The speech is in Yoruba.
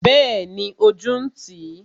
Bẹẹni, ojú ń tì i